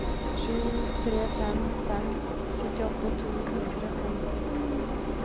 sju tre fem fem syttiåtte to hundre og nitten